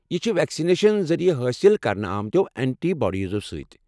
یہ چھِ ویکسنیشن ذٔریعہٕ حٲصل کرنہٕ آمٕتیو اینٹی باڈِیزو سۭتۍ ۔